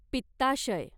पित्ताशय